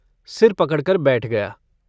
सिर पकड़ कर बैठ गया।